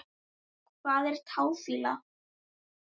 Hvað er táfýla?